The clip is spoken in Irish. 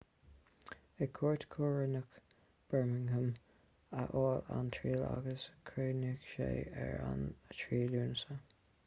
ag cúirt choróineach bermingham a bhí an triail agus chríochnaigh sé ar an 3 lúnasa